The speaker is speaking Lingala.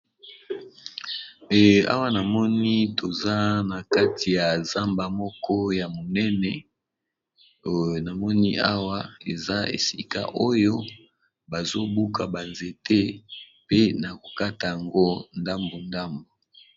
Awa na moni toza na kati ya zamba moko ya monene namoni awa eza esika oyo bazobuka banzete pe na kokata yango ndambu ndambu.